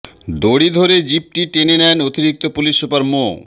দড়ি ধরে জিপটি টেনে নেন অতিরিক্ত পুলিশ সুপার মো